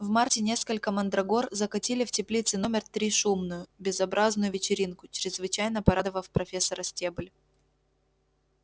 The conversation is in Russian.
в марте несколько мандрагор закатили в теплице номер три шумную безобразную вечеринку чрезвычайно порадовав профессора стебль